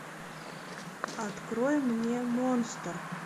открой мне монстр